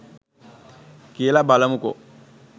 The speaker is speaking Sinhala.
කියලා බලමුකෝ